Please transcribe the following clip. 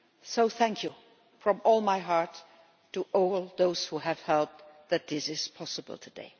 So thank you from all my heart to all those who have helped make this possible today.